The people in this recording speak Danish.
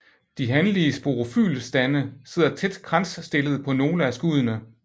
De hanlige sporofylstande sidder tæt kransstillet på nogle af skuddene